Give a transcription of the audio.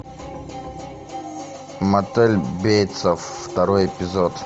мотель бейтсов второй эпизод